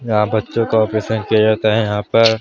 यहाँ बच्चों का ऑपरेशन किया जाता है यहाँ पर --